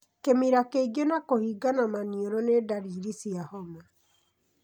Kĩmira kĩingĩ na kũhingana maniũrũ nĩ ndariri cia homa.